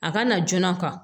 A ka na joona